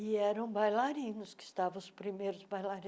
E eram bailarinos que estavam os primeiros bailarinos.